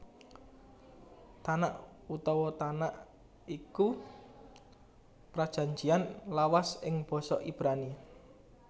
Tanakh utawa Tanak iku Prajanjian Lawas ing basa Ibrani